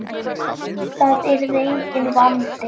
Það yrði enginn vandi.